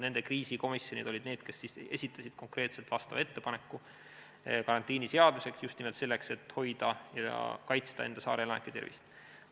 Nende kriisikomisjonid olid need, kes esitasid konkreetselt ettepaneku karantiini seadmiseks, just nimelt selleks, et hoida ja kaitsta enda saare elanike tervist.